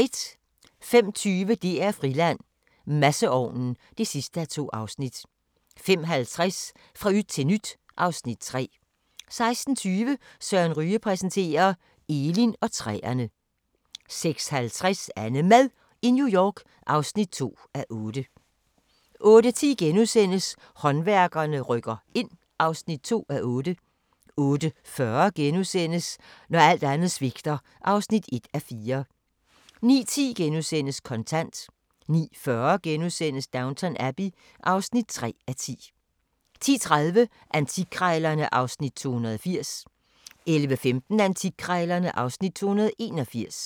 05:20: DR-Friland: Masseovnen (2:2) 05:50: Fra yt til nyt (Afs. 3) 06:20: Søren Ryge præsenterer – Elin og træerne 06:50: AnneMad i New York (2:8) 08:10: Håndværkerne rykker ind (2:8)* 08:40: Når alt andet svigter (1:4)* 09:10: Kontant * 09:40: Downton Abbey (3:10)* 10:30: Antikkrejlerne (Afs. 280) 11:15: Antikkrejlerne (Afs. 281)